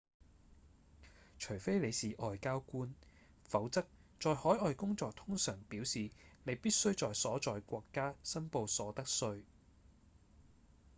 除非你是外交官否則在海外工作通常表示你必須在所在國家申報所得稅